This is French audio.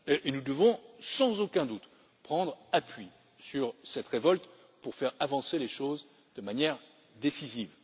Nous devons, sans aucun doute, prendre appui sur cette révolte pour faire avancer les choses de manière décisive.